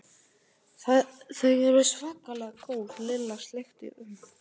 Þau eru svakalega góð Lilla sleikti út um.